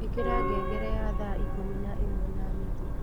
ĩkĩra ngengere ya thaa ikũmi na ĩmwe na nuthu